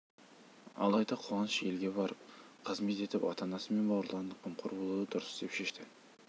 алайда қуаныш елге барып қызмет етіп ата-анасы мен бауырларына қамқор болуды дұрыс деп шешті